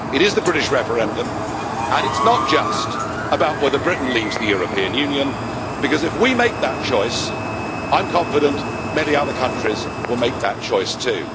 It is the British referendum and it is not just about whether Britain leaves the European Union, because if we make that choice I am confident many other countries will make that choice too.